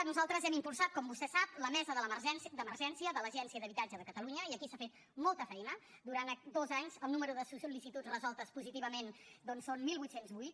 nosaltres hem impulsat com vostè sap la mesa d’emergència de l’agència d’habitatge de catalunya i aquí s’ha fet molta feina durant dos anys el número de sol·licituds resoltes positivament doncs són divuit zero vuit